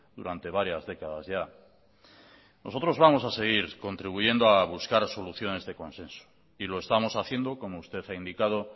durante varias décadas ya nosotros vamos a seguir contribuyendo a buscar soluciones de consenso y lo estamos haciendo como usted ha indicado